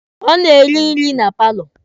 Ọ na-eri nri na paalọ.